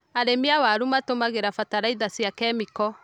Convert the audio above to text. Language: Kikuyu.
Arĩmi a waru matũmĩraga bataraitha cia kemiko.